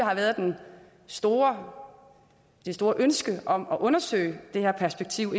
har været det store store ønske om at undersøge det her perspektiv